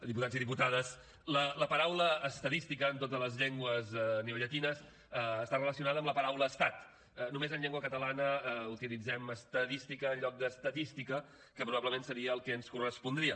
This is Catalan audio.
diputats i diputades la paraula estadística en totes les llengües neollatines està relacionada amb la paraula estat només en llengua catalana utilitzem estadística en lloc d’ estatística que probablement seria el que ens correspondria